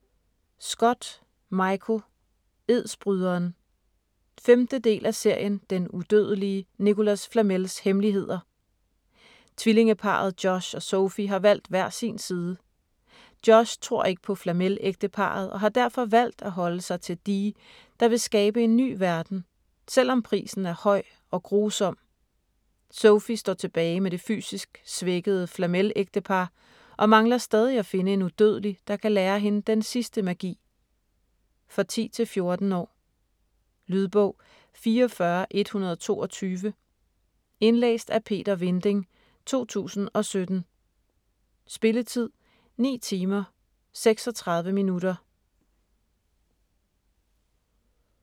Scott, Michael: Edsbryderen 5. del af serien Den udødelige Nicholas Flamels hemmeligheder. Tvillingeparret Josh og Sophie har valgt hver sin side. Josh tror ikke på Flamel-ægteparret og har derfor valgt at holde sig til Dee, der vil skabe en ny verden - selvom prisen er høj og grusom. Sophie står tilbage med det fysisk svækkede Flamel-ægtepar og mangler stadig at finde en udødelig, der kan lære hende den sidste magi. For 10-14 år. Lydbog 44122 Indlæst af Peter Vinding, 2017. Spilletid: 9 timer, 36 minutter.